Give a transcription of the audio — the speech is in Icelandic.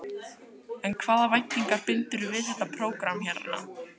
Þóra Kristín: En hvaða væntingar bindurðu við þetta prógramm hérna?